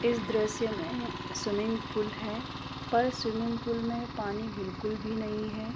इस दृश्य में स्विमिंग पूल है पर स्विमिंग पूल में पानी बिल्कुल भी नहीं है।